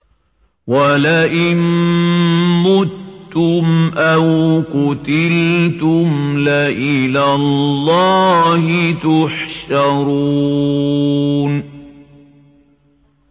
وَلَئِن مُّتُّمْ أَوْ قُتِلْتُمْ لَإِلَى اللَّهِ تُحْشَرُونَ